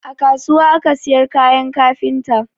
A kasuwa aka siyar kayan kafinta